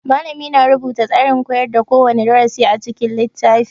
Malami na rubuta tsarin koyar da kowane darasi a cikin littafi